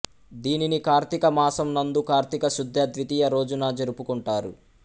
దీనిని కార్తీకమాసము నందు కార్తీక శుద్ధ ద్వితీయ రోజున జరుపుకుంటారు